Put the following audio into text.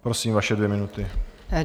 Prosím, vaše dvě minuty.